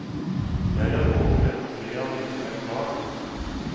Jeg har overlevd tre av mine fem barn.